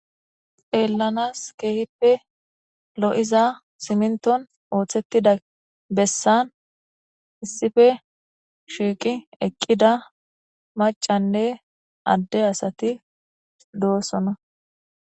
Xeellanas keehippe lo7iza siminton ooththettida bessan issife shiiqi eqqida macanne adde asati doosona